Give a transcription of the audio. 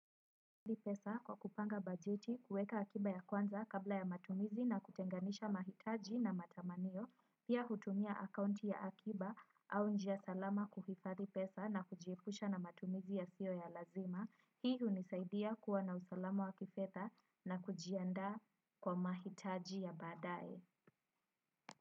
Kwa kupanga bajeti, kuweka akiba ya kwanza kabla ya matumizi na kutenganisha mahitaji na matamanio, pia hutumia akaunti ya akiba au njia salama kuhifadhi pesa na kujiepusha na matumizi yasio ya lazima. Hii hunisaidia kuwa na usalamu wa kifedha na kujianda kwa mahitaji ya baadaye.